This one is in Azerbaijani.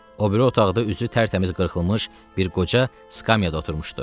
O biri otaqda üzü tərtəmiz qırxılmış bir qoca skamyada oturmuşdu.